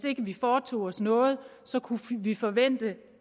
ikke foretog os noget kunne vi forvente